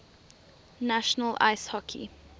national ice hockey